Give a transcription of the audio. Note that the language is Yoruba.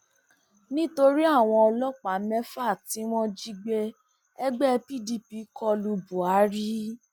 nítorí àwọn ọlọpàá mẹfà tí wọn jí gbé ẹgbẹ pdp kọ lu buhari